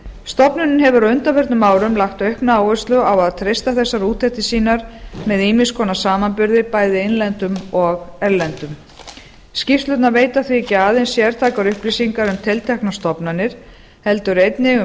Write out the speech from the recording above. stofnunin hefur á undanförnum árum lagt aukna áherslu á að treysta þessar úttektir sínar með ýmiss konar samanburði bæði innlendum og erlendum skýrslurnar veita því ekki aðeins sértækar upplýsingar um tilteknar stofnanir heldur einnig um